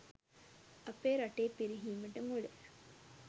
අපේ රටේ පිරිහීමට මුල